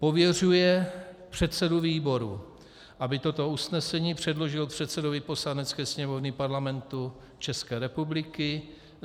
Pověřuje předsedu výboru, aby toto usnesení předložil předsedovi Poslanecké sněmovny Parlamentu České republiky.